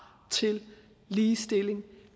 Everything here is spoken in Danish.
til ligestilling